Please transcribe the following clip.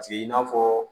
Paseke i n'a fɔ